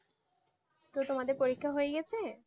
তো তোমাদের পরীক্ষা হয়ে গেছে